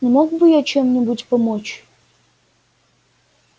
не мог бы я чем-нибудь помочь